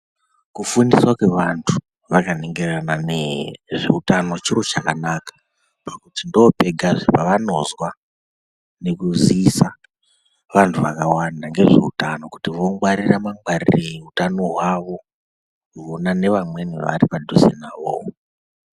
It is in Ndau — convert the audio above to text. Kufundiswa kwevantu vaka ningirana nezve utano chiro chakanaka. Ndipo pegazve pavanozwa nekuziisa vantu vakawanda ngezve utano, kuti vongwarira mangwarirei utano hwawo, vona nevamweni vari padhuze navowo.